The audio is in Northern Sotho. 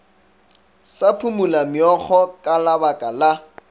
sa phumolameokgo ka labaka la